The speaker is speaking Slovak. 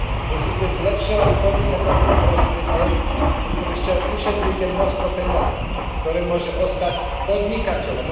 Musíte zlepšovať podnikateľské prostredie, a pritom ešte aj ušetríte množstvo peňazí, ktoré môže ostať podnikateľom.